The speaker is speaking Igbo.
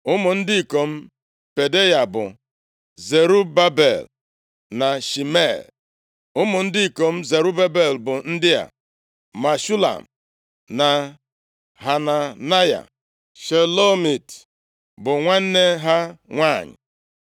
Ụmụ ndị ikom Pedaya bụ Zerubabel na Shimei. Ụmụ ndị ikom Zerubabel bụ ndị a: Meshulam na Hananaya. Shelomit bụ nwanne ha nwanyị.